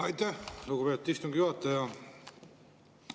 Aitäh, lugupeetud istungi juhataja!